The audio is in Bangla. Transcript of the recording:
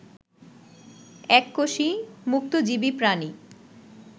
এককোষী মুক্তজীবী প্রাণী